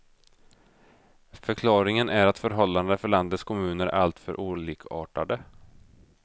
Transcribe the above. Förklaringen är att förhållandena för landets kommuner är alltför olikartade.